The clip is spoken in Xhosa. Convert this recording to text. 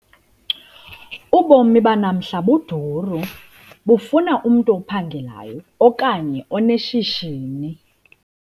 Ubomi banamhla buduru, bufuna umntu ophangelayo okanye oneshishini.